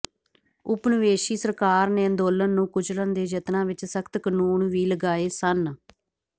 ਉਪਨਿਵੇਸ਼ੀ ਸਰਕਾਰ ਨੇ ਅੰਦੋਲਨ ਨੂੰ ਕੁਚਲਣ ਦੇ ਯਤਨਾਂ ਵਿੱਚ ਸਖਤ ਕਾਨੂੰਨ ਵੀ ਲਗਾਏ ਸਨ